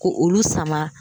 Ko olu sama